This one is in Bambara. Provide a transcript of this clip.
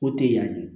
Ko tɛ yan